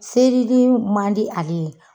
Serili man di ale ye.